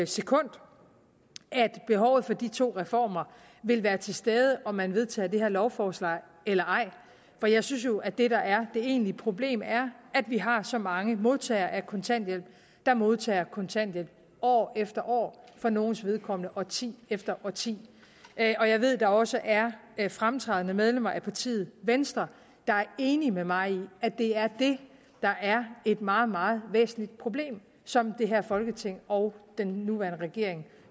sekund at behovet for de to reformer vil være til stede om man vedtager det her lovforslag eller ej for jeg synes jo at det der er det egentlige problem er at vi har så mange modtagere af kontanthjælp der modtager kontanthjælp år efter år for nogles vedkommende årti efter årti og jeg ved at der også er er fremtrædende medlemmer af partiet venstre der er enige med mig i at det er det der er et meget meget væsentligt problem som det her folketing og den nuværende regering